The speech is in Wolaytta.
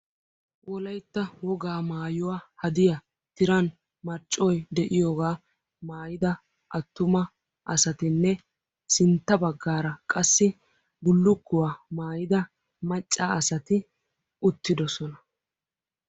Wolaytta wogaa maayuwa hadiya tiran marccoy de'iyogaa maayida attuma asatinne sintta baggaara qassi bullukkuwa maayida macca asati uttidosona.